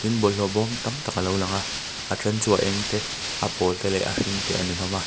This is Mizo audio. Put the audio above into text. bawlhhlawh bawm tam tak alo lang a a then chu a eng te a pawl te leh a hring te a ni hlawm a.